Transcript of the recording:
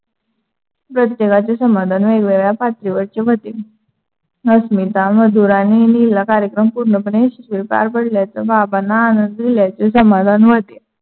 प्रत्येकाचे समाधान वेगळयावेगळ्या पातळीवरचे होते. अस्मिता, मधुर आणि नीलला कार्यकम पूर्णपणे यशश्वी पार पडल्याचे बाबांंना आनंद दिल्याचे समाधान होते.